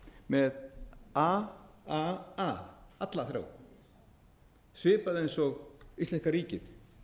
með a að a alla þrjá svipað eins og íslenska ríkið